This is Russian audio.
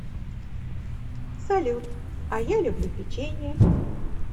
салют а я люблю печенье